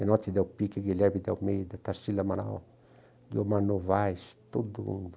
Menotti Delpica, Guilherme Delmeida, Tarsila Amaral, Guilherme Novaes, todo mundo.